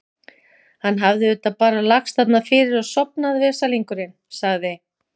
Hann hafði auðvitað bara lagst þarna fyrir og sofnað, veslingurinn, sagði